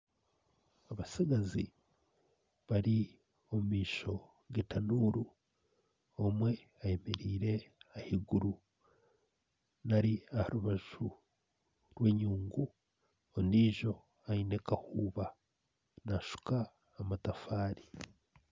Abatsigazi bari omu maisho getanuuru omwe ayemereire ahaiguru nari aha rubaju rwenyungu ondiijo aine kahuuba ariyo naashuka amatafari